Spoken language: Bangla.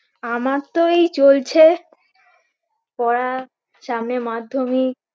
আমার তো এই চলছে পড়া সামনে মাধ্যমিক